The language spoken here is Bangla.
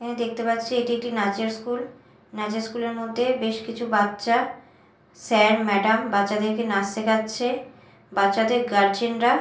দেখতে পাচ্ছি এটি একটি নাচের স্কুল নাচের স্কুল -এর মধ্যে বেশ কিছু বাচ্চা স্যার ম্যাডাম বাচ্চাদেরকে নাচ শেখাচ্ছে বাচ্চাদের গার্জেন -রা---